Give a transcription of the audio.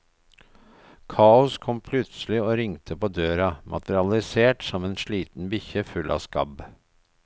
Kaos kom plutselig og ringte på døra, materialisert som en sliten bikkje full av skabb.